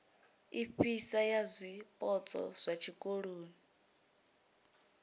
ifhasi ya zwipotso zwa tshikoloni